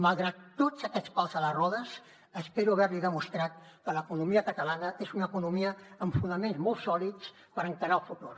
malgrat tots aquests pals a les rodes espero haver li demostrat que l’economia catalana és una economia amb fonaments molt sòlids per encarar el futur